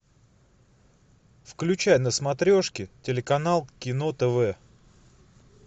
включай на смотрешке телеканал кино тв